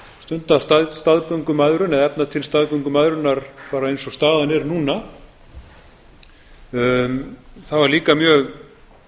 stunda staðgöngumæðrun eða efna til staðgöngumæðrunar bara eins og staðan er núna það var líka mjög